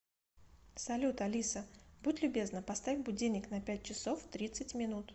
салют алиса будь любезна поставь будильник на пять часов тридцать минут